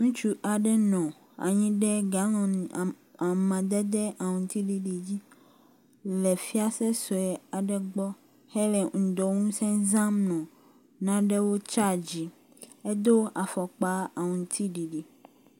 Ŋutsu aɖe nɔ anyi ɖe ga ma……amadede aŋtsiɖiɖi dzi le fiase sue aɖe gbɔ hele ŋdɔŋusẽ zãm nɔ nanewo tsadzime. Edo afɔkpa aŋtsiɖiɖi